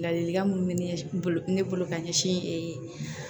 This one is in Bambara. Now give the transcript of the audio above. Ladilikan mun be ne bolo ne bolo ka ɲɛsin